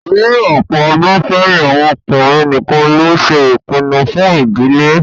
Ní ọ̀pọ̀ ọdún sẹ́yìn, àwọn ọkùnrin nìkan ló ṣe ìpinnu fún ìdílé